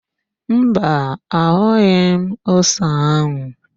Mba, ahụghị m ose áhụ̀.